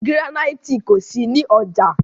Gíránítì kò sí ní ọjà.